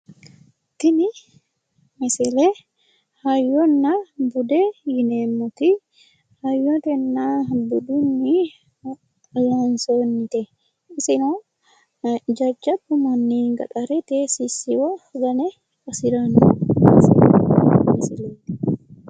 tini misile hayyonna bude yineemmoti hayyotenna budunni loonsoonnite iseno jajjabbu manni gaxarete sissiwo gane qasiranno bese misileeti.